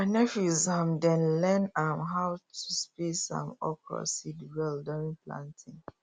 my nephew um dey learn um how to space um okra seed well during planting